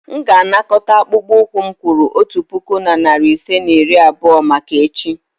M ga-anakọta akpụkpọ ụkwụ m kwụrụ otu puku na narị ise na iri abụọ maka echi.